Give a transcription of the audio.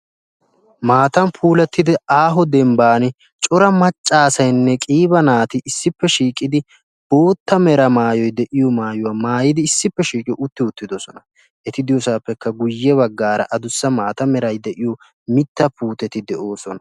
Maatan puulattidi aaho dembban cora maccaasaynne qiiba naati issippe shiiqidi bootta mera maayoi de'iyo maayuwaa maayidi issippe shiiqiyo utti uttidosona. eti diyoosaappekka guyye baggaara adussa maata merai de'iyo mitta puuteti de'oosona.